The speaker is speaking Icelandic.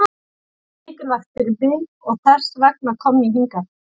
Það er mikilvægt fyrir mig og þess vegna kom ég hingað.